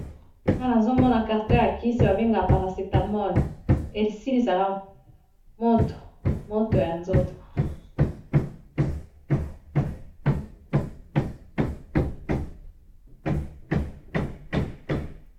Awa nazomona carton ya kisi babengaka paracetamol esilisaka moto ya nzoto.